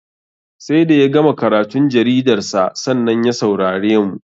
Sai da ya gama karatun jaridarsa, sannan ya saurare mu.